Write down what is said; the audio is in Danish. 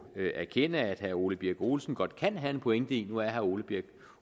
erkende at herre ole birk olesen godt kan have en pointe i nu er herre ole birk